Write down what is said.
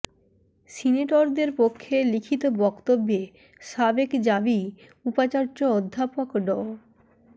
সিনেটরদের পক্ষে লিখিত বক্তব্যে সাবেক জাবি উপাচার্য অধ্যাপক ড